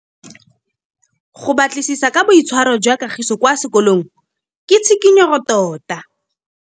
Go batlisisa ka boitshwaro jwa Kagiso kwa sekolong ke tshikinyêgô tota.